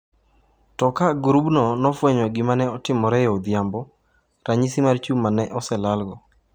To ka grupno nofwenyo gima ne otimore e odhiambo, ranyisi mar chuma ne oselalo.